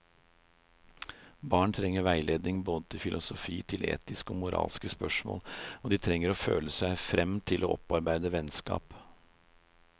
Barn trenger veiledning både til filosofi, til etiske og moralske spørsmål, og de trenger å føle seg frem til å opparbeide vennskap.